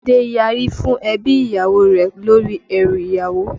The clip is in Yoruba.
Adé yari fún ebi ìyàwó rẹ̀ lórí ẹrú ìyàwó